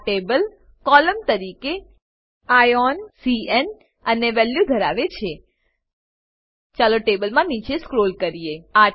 આ table column તરીકે આઇઓએન cન અને વેલ્યુ ધરાવે છે ચાલો ટેબલમાં નીચે સ્ક્રોલ કરીએ